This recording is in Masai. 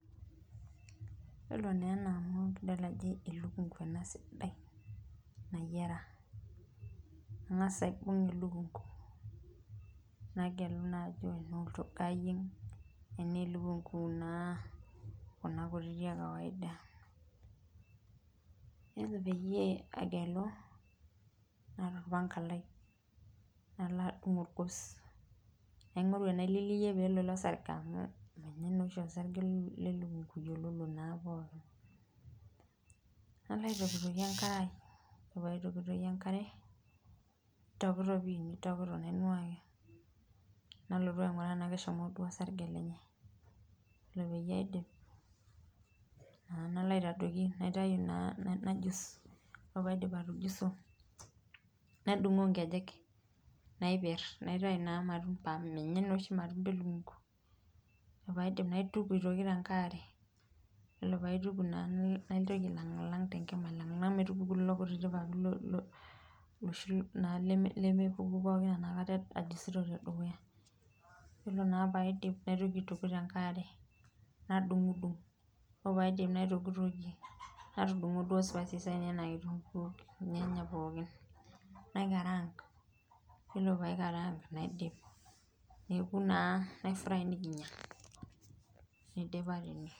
Yiolo naa ena amu idol ajo elukunku ena sidai nayiara ,igas aibung elukunku nagelu naa elukunku tena olchogoo nayieng tenaa Kuna kutitik ekawaida .ore pee angelus nadumu enkalem nadungie orgos naingoru enaililiyie pe elo ilo sarge ,nalo aitokitokie enkare ore pee aitokitokie enkare ,nainuaaki nalotu ainguraa tena keishoyo duo orsarge naitayu naa nalo aitadoiki enkare najus, ore pee aidip atujuso naitayu nkejek napier naitayu naa matumbo amu menye oshi matumbo elukunku ,ore pee aidip naituku tenkae are ore pee aidip naitoki ailangilak tenkima metupuku lelo papit pookin oshi lemepuku pookin enakata ajusito tedukuya .yiolou naa pee aidip naitoki aituku tenake are ,nadungudung ore pee aidip naitokitokie natudungo duo kitunkuu ornyanya lainei pookin naikarang yiolo pee aikarang naidip, neeku naa naifry nikinya neidipayu.